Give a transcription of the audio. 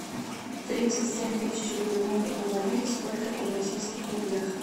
тридцать семь тысяч в рублевом эквиваленте сколько это в российских рублях